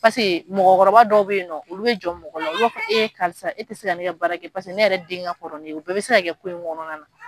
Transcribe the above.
Paseke mɔgɔkɔrɔba dɔw bɛ yen nɔ olu bɛ jɔn mɔgɔ la, olu ba fɔ e karisa e tɛ se ka ne ka baara kɛ paseke ne yɛrɛ den ka kɔrɔ ni ye, o bɛɛ bɛ se ka kɛ k'i kɔnɔna na.